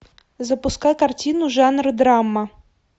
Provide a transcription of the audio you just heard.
запускай картину жанр драма